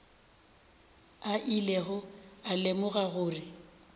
a ilego a lemoga gore